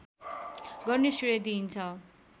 गर्ने श्रेय दिइन्छ